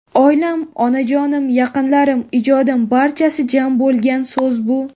Oilam, onajonim, yaqinlarim, ijodim barchasi jam bo‘lgan so‘z bu!